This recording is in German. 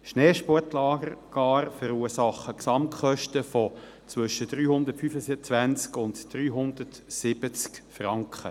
Schneesportlager verursachen gar Gesamtkosten zwischen 325 und 370 Franken.